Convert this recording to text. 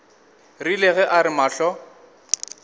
rile ge a re mahlo